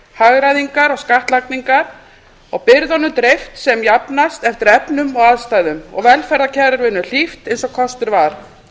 hagræðingar og skattlagningar og byrðunum dreift sem jafnast eftir efnum og aðstæðum og velferðarkerfinu hlíft eins og kostur var